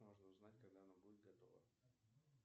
можно узнать когда она будет готова